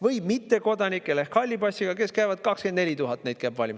või mittekodanikel ehk halli passi, kellest käis valimas 24 000.